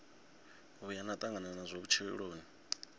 vhuya na tangana nazwo vhutshiloni